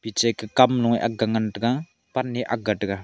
piche ke kamnoe akga ngan taiga pan e ak taiga.